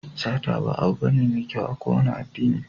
Sata ba abu bane mai kyau a kowane addini.